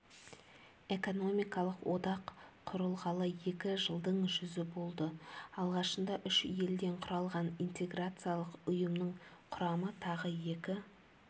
экономикалық одақ құрылғалы екі жылдың жүзі болды алғашында үш елден құралған интеграциялық ұйымның құрамы тағы екі